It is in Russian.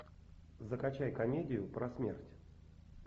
закачай комедию про смерть